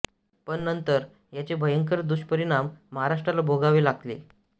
पण नंतर याचे भंयकर दुष्परिणाम महाराष्ट्राला भोगावे लागले